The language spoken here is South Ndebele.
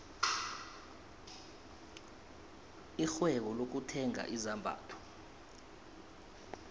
irhwebo lokuthenga izambatho